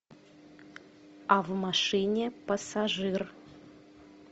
а в машине пассажир